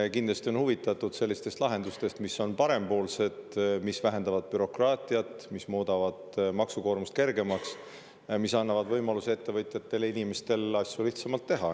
–, on kindlasti huvitatud sellistest lahendustest, mis on parempoolsed, mis vähendavad bürokraatiat, mis muudavad maksukoormust kergemaks, mis annavad ettevõtjatele ja inimestele võimaluse asju lihtsamalt teha.